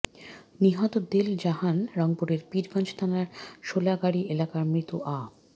নিহত দেল জাহান রংপুরের পীরগঞ্জ থানার সোলাগাড়ি এলাকার মৃত আ